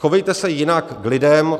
Chovejte se jinak k lidem!